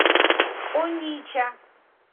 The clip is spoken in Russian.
онича